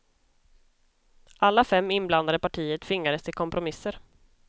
Alla fem inblandade partier tvingades till kompromisser.